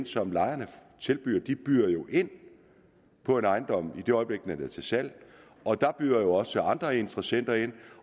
som lejerne tilbyder de byder jo ind på en ejendom i det øjeblik den er til salg og der byder også andre interessenter ind